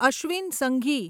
Ashwin Sanghi